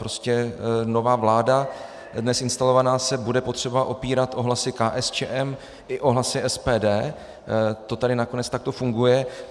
Prostě nová vláda, dnes instalovaná, se bude potřebovat opírat o hlasy KSČM i o hlasy SPD, to tady nakonec takto funguje.